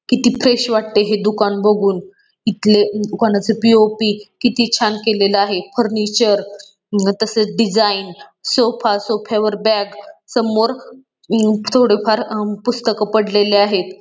किती फ्रेश वाटतय हे दुकान बघून इथले दुकानाचे पी.ओ.पी. किती छान केलेली आहे फर्निचर व तसेच डिझाईन सोफा सोफ्या वर बॅग समोर अम थोडेफार अम पुस्तक पडलेली आहेत.